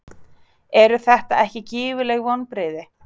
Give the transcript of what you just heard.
Eru þetta ekki gífurleg vonbrigði?